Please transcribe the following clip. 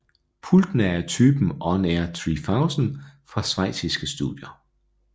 Pultene er af typen On Air 3000 fra schweiziske Studer